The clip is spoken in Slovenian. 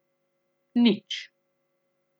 Nič.